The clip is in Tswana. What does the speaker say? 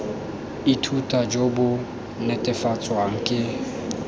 ithuta jo bo netefatswang ke